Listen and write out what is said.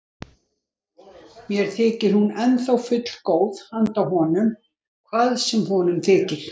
Mér þykir hún ennþá fullgóð handa honum, hvað sem honum þykir.